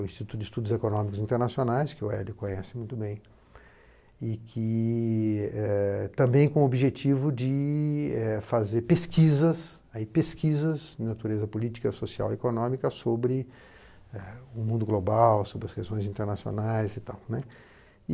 o Instituto de Estudos Econômicos Internacionais, que o Hélio conhece muito bem, e que também é com o objetivo de fazer pesquisas, pesquisas em natureza política, social e econômica sobre o mundo global, sobre as questões internacionais e tal.